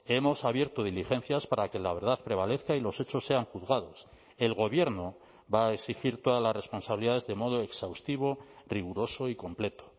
hemos abierto diligencias para que la verdad prevalezca y los hechos sean juzgados el gobierno va a exigir todas las responsabilidades de modo exhaustivo riguroso y completo